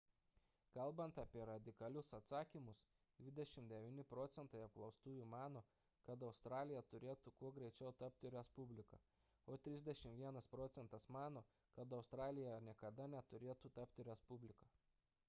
kalbant apie radikalius atsakymus 29 procentai apklaustųjų mano kad australija turėtų kuo greičiau tapti respublika o 31 procentas mano kad australija niekada neturėtų tapti respublika